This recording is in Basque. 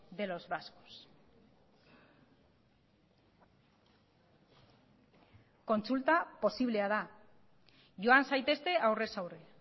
de los vascos kontsulta posiblea da joan zaitezte aurrez aurre